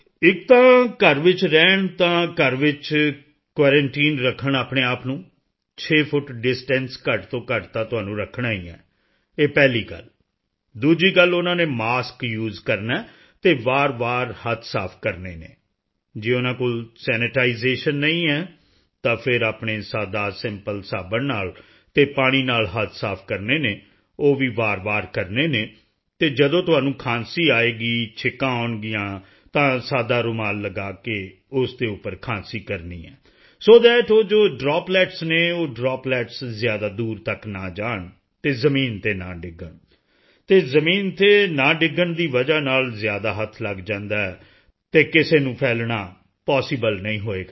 ਇੱਕ ਤਾਂ ਘਰ ਵਿੱਚ ਹੀ ਰਹਿਣ ਤਾਂ ਘਰ ਵਿੱਚ ਕੁਆਰੰਟਾਈਨ ਰੱਖਣ ਆਪਣੇ ਆਪ ਨੂੰ 6 ਫੁੱਟ ਡਿਸਟੈਂਸ ਘੱਟ ਤੋਂ ਘੱਟ ਤਾਂ ਤੁਹਾਨੂੰ ਰੱਖਣਾ ਹੀ ਹੈ ਇਹ ਪਹਿਲੀ ਗੱਲ ਦੂਜੀ ਗੱਲ ਉਨ੍ਹਾਂ ਨੇ ਮਾਸਕ ਯੂਐਸਈ ਕਰਨਾ ਹੈ ਅਤੇ ਵਾਰਵਾਰ ਹੱਥ ਸਾਫ ਕਰਨੇ ਹਨ ਜੇ ਉਨ੍ਹਾਂ ਕੋਲ Sanitisationਨਹੀਂ ਹੈ ਤਾਂ ਫਿਰ ਆਪਣੇ ਸਾਦਾਸਿੰਪਲ ਸਾਬਣ ਨਾਲ ਅਤੇ ਪਾਣੀ ਨਾਲ ਹੱਥ ਸਾਫ ਕਰਨੇ ਹਨ ਉਹ ਵੀ ਵਾਰਵਾਰ ਕਰਨੇ ਹਨ ਅਤੇ ਜਦੋਂ ਤੁਹਾਨੂੰ ਖ਼ਾਂਸੀ ਆਏਗੀ ਛਿੱਕਾਂ ਆਉਣਗੀਆਂ ਤਾਂ ਸਦਾ ਰੁਮਾਲ ਲਗਾ ਕੇ ਉਸ ਦੇ ਉੱਪਰ ਖ਼ਾਂਸੀ ਕਰਨੀ ਹੈ ਸੋ ਥੱਟ ਉਹ ਜੋ ਡ੍ਰੌਪਲੇਟਸ ਹਨ ਉਹ ਡ੍ਰੌਪਲੇਟਸ ਜ਼ਿਆਦਾ ਦੂਰ ਤੱਕ ਨਾ ਜਾਣ ਅਤੇ ਜ਼ਮੀਨ ਤੇ ਨਾ ਡਿੱਗਣ ਅਤੇ ਜ਼ਮੀਨ ਤੇ ਨਾ ਡਿੱਗਣ ਦੀ ਵਜ੍ਹਾ ਨਾਲ ਜ਼ਿਆਦਾ ਹੱਥ ਲੱਗ ਜਾਂਦਾ ਹੈ ਅਤੇ ਕਿਸੇ ਨੂੰ ਫੈਲਣਾ ਪੌਸੀਬਲ ਨਹੀਂ ਹੋਵੇਗਾ